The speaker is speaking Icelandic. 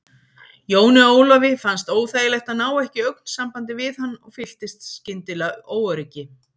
Jóni Ólafi fannst óþægilegt að ná ekki augnsambandi við hann og fylltist skyndilega óöryggi.